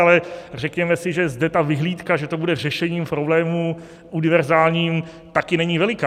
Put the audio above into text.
Ale řekněme si, že zde ta vyhlídka, že to bude řešením problémů univerzálním, také není veliká.